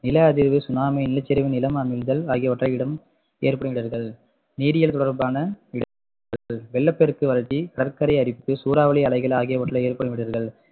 நிலஅதிர்வு, tsunami, நிலச்சரிவு, நிலம் அமிழ்தல் ஆகியவற்றை இடம் ஏற்படும் இடர்கள் நீரியல் தொடர்பான இடர்கள் வெள்ளப்பெருக்கு, வறட்சி, கடற்கரை அரிப்பு, சூறாவளி அலைகள் ஆகியவற்றால் இடர்கள்